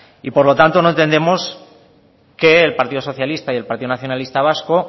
y por lo tanto no entendemos que el partido socialista y el partido nacionalista vasco